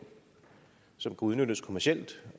som kunne udnyttes kommercielt